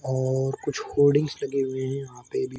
और कुछ होडिंग्स लगे हुए है यहाँ पे भी।